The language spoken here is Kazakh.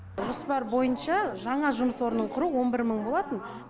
жоспар бойынша жаңа жұмыс орнын құру он бір мың болатын